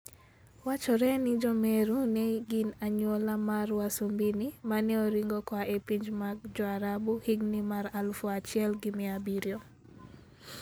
Wachore ni Jo-Meru ne gin anyuola mar wasumbini ma ne oringo koa e pinje mag Jo-Arabu e higini mag 1700.